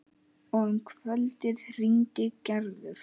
Og um kvöldið hringdi Gerður.